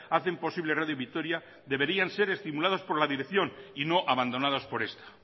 hacen posible radio vitoria deberían ser estimulados por la dirección y no abandonados por esta